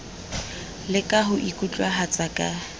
le ka ho ikutlwahatsa ka